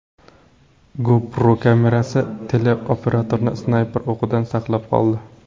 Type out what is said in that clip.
GoPro kamerasi teleoperatorni snayper o‘qidan saqlab qoldi.